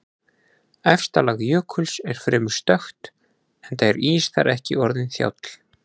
Efsta lag jökuls er fremur stökkt enda er ís þar ekki orðinn þjáll.